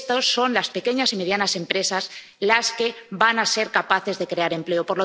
Son las pequeñas y medianas empresas las que van a ser capaces de crear empleo.